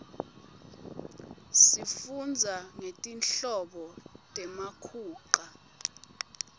sifundza ngetinhlobo temakhunqa